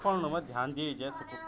पड़न मा ध्यान दिए जै सकद।